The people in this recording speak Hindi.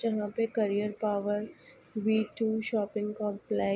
जहां पे carrier power V two shopping complex --